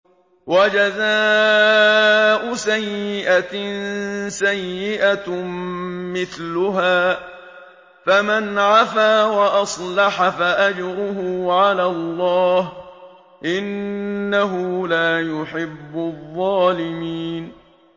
وَجَزَاءُ سَيِّئَةٍ سَيِّئَةٌ مِّثْلُهَا ۖ فَمَنْ عَفَا وَأَصْلَحَ فَأَجْرُهُ عَلَى اللَّهِ ۚ إِنَّهُ لَا يُحِبُّ الظَّالِمِينَ